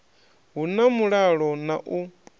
hu na mulalo na u